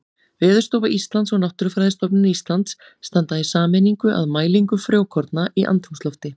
Veðurstofa Íslands og Náttúrufræðistofnun Íslands standa í sameiningu að mælingu frjókorna í andrúmslofti.